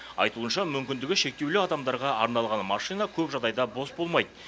айтуынша мүмкіндігі шектеулі адамдарға арналған машина көп жағдайда бос болмайды